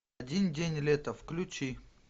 один день лета включи